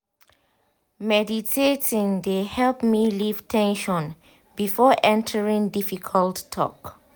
meditating de help me leave ten sion before entering difficult talk.